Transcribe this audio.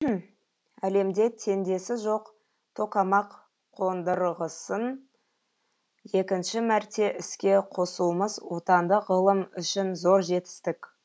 әлемде теңдесі жоқ токамак қондырғысын екінші мәрте іске қосуымыз отандық ғылым үшін зор жетістік